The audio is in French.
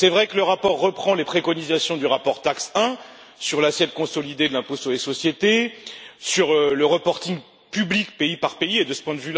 Il est vrai que le rapport reprend les préconisations du rapport TAXE 1 sur l'assiette consolidée de l'impôt sur les sociétés, sur le reporting public pays par pays de ce point de vue,